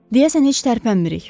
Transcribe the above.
Deyəsən heç tərpənmirik.